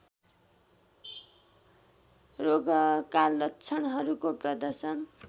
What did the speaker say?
रोगका लक्षणहरूको प्रदर्शन